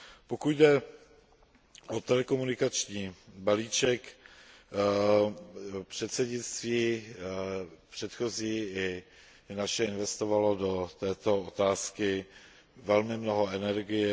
Pokud jde o telekomunikační balíček, předsednictví předchozí i naše investovalo do této otázky velmi mnoho energie.